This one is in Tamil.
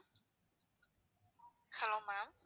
hello ma'am